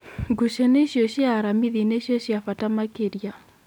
Ngucanio icio cia aramithi nĩcio ciabata makĩria."